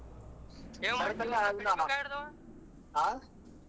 ಹ.